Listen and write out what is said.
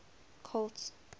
colt